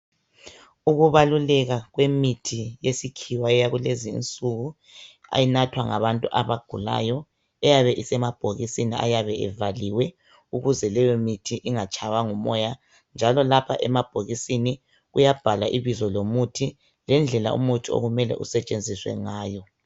Ukubaluleka kwemithi yesikhiwa eyakulezinsuku enathwa ngabantu abagulayo, eyabe isemabhokisini ayabe evaliwe ukuze leyomithi ingatshaywa ngumoya njalo lapho emabhokisini kuyabhalwa ibizo lomuthi, lendlela umuthi okumele usetshenziswe ngayo.